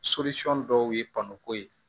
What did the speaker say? dɔw ye pɔnko ye